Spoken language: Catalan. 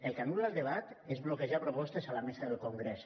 el que anul·la el debat és bloquejar propostes a la mesa del congrés